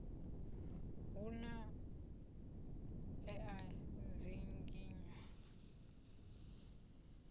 hu na e a dzinginywa